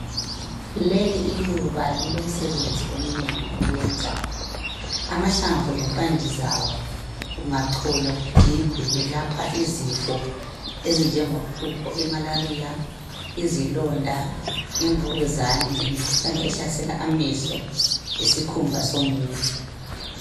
Lelu iluba lilomsebebzi eminengi iliwuyenzayo. Amahlamvu lemphande zawo kungacolwa kugigwe kwelapha izifo ezinje nge quqo, i 'malaria ', ivukuzane lemikhuhlane ehlasela amehlo lesikumba somuntu.